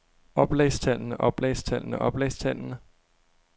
oplagstallene oplagstallene oplagstallene